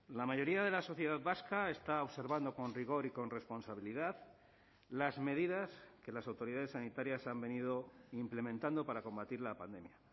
la mayoría de la sociedad vasca está observando con rigor y con responsabilidad las medidas que las autoridades sanitarias han venido implementando para combatir la pandemia